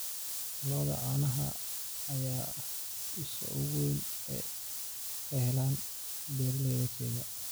Lo'da caanaha ayaa ah isha ugu weyn ee ay ka helaan beeraleyda Kenya.